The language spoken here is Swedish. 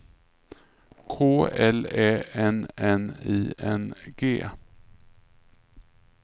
K L Ä N N I N G